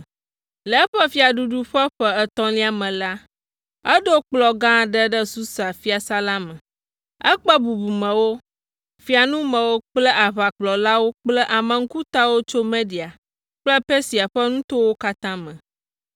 Le eƒe fiaɖuɖu ƒe ƒe etɔ̃lia me la, eɖo kplɔ̃ gã aɖe ɖe Susa fiasã la me. Ekpe bubumewo, fiaŋumewo kple aʋakplɔlawo kple ame ŋkutawo tso Media kple Persia ƒe nutowo katã me.